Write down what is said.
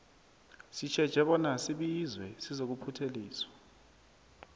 sitjheje bona sibizwe sizokuphutheliswa